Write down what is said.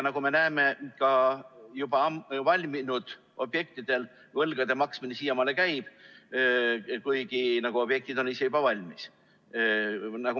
Nagu me näeme, ka valminud objektide võlgade maksmine siiamaani käib, kuigi objektid on juba valmis.